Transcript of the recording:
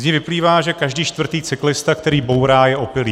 Z nich vyplývá, že každý čtvrtý cyklista, který bourá, je opilý.